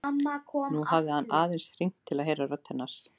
Nú hafði hann aðeins hringt til að heyra rödd hennar.